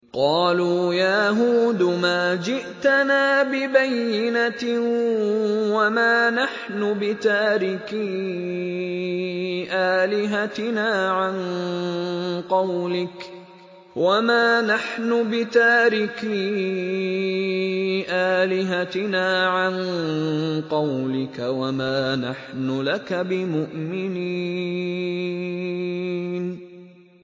قَالُوا يَا هُودُ مَا جِئْتَنَا بِبَيِّنَةٍ وَمَا نَحْنُ بِتَارِكِي آلِهَتِنَا عَن قَوْلِكَ وَمَا نَحْنُ لَكَ بِمُؤْمِنِينَ